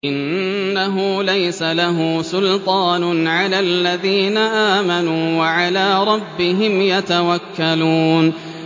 إِنَّهُ لَيْسَ لَهُ سُلْطَانٌ عَلَى الَّذِينَ آمَنُوا وَعَلَىٰ رَبِّهِمْ يَتَوَكَّلُونَ